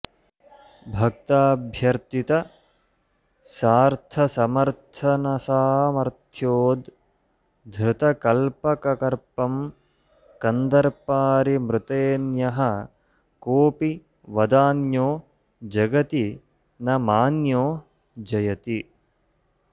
भक्ताभ्यर्थितसार्थसमर्थनसामर्थ्योद्धृतकल्पककर्पं कन्दर्पारिमृतेऽन्यः कोऽपि वदान्यो जगति न मान्यो जयति